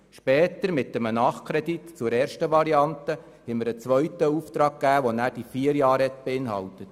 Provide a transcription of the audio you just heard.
Später haben wir, mit einem Nachkredit zur ersten Variante, einen zweiten Auftrag gegeben, der über vier Jahre läuft.